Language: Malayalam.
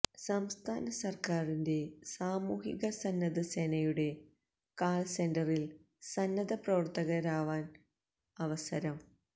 സംസ്ഥാന സര്ക്കാരിന്റെ സാമൂഹിക സന്നദ്ധ സേനയുടെ കാള് സെന്ററില് സന്നദ്ധ പ്രവര്ത്തകരാവാന് അവസരം